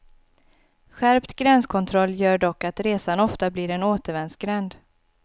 Skärpt gränskontroll gör dock att resan ofta blir en återvändsgränd.